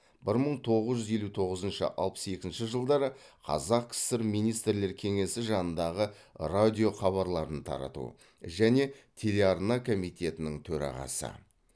бір мың тоғыз жүз елу тоғызыншы алпыс екінші жылдары қазақ кср министрлер кеңесі жанындағы радио хабарларын тарату және телеарна комитетінің төрағасы